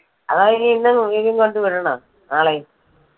അതോ വിനീതിനെ വീണ്ടും കൊണ്ട് വിടണോ നാളേം.